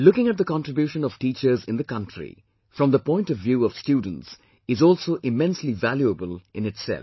Looking at the contribution of teachers in the country from the point of view of students is also immensely valuable in itself